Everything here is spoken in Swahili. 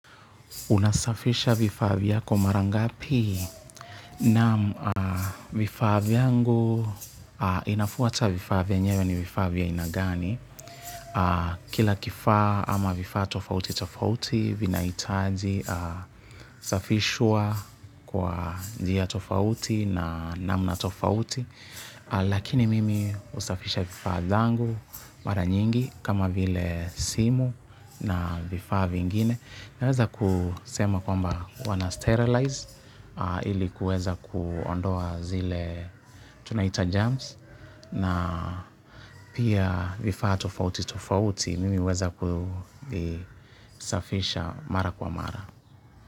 Unasafisha vifaa vyako mara ngapi naam vifaa vyangu inafuata vifaa vinyewe ni vifaaa vya aina gani. Kila kifaa ama vifaa tofauti tofauti vinahitaji safishwa kwa njia tofauti na namna tofauti. Lakini mimi husafisha vifaa zangu mara nyingi kama vile simu na vifaa vingine. Naweza kusema kwamba wanasterilize ili kuweza kuondoa zile tunaita germs na pia vifaa tofauti tofauti mimi huweza kusafisha mara kwa mara.